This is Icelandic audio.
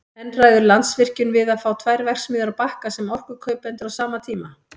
En ræður Landsvirkjun við að fá tvær verksmiðjur á Bakka sem orkukaupendur á sama tíma?